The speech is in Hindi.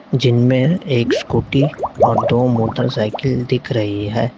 जिनमें एक स्कूटी और दो मोटरसाइकिल दिख रही है।